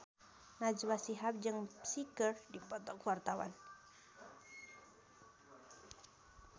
Najwa Shihab jeung Psy keur dipoto ku wartawan